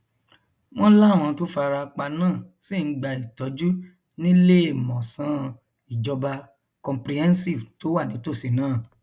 wọn láwọn tó fara pa náà ṣì ń gba ìtọjú níléemọsán ìjọba comprehensive tó wà nítòsí náà